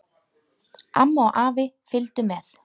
Amma og afi fylgdu með.